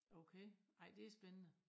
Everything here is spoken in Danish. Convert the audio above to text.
Okay ej det spændende